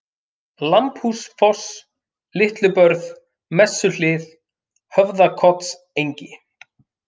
Lambhúsfoss, Litlubörð, Messuhlið, Höfðakotsengi